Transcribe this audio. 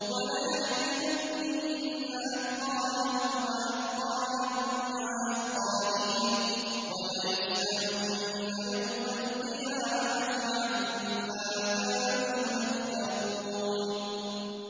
وَلَيَحْمِلُنَّ أَثْقَالَهُمْ وَأَثْقَالًا مَّعَ أَثْقَالِهِمْ ۖ وَلَيُسْأَلُنَّ يَوْمَ الْقِيَامَةِ عَمَّا كَانُوا يَفْتَرُونَ